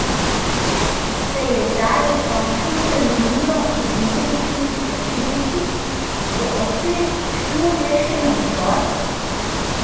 Se je zdaj dokončno prelomilo v vijolični slačilnici, bo odslej šlo le še navzgor?